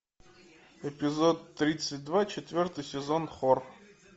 эпизод тридцать два четвертый сезон хор